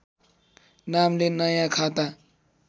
नामले नयाँ खाता